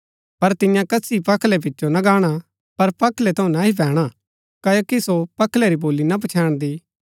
पर तियां कसी पखलै पिचो ना गाणा पर पखलै थऊँ नह्ई पैणा क्ओकि सो पखलै री बोली ना पच्छैन्दी